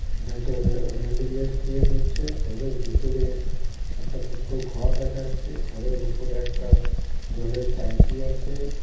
এটা একটা রে রেলিংয়ের শেড হচ্ছে সেডের ভেতরে একটা ছোট্ট ঘর দেখা যাচ্ছে ঘরের উপরে একটা জলের ট্যাংকি আছে।